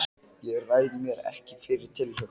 Ég ræð mér ekki fyrir tilhlökkun.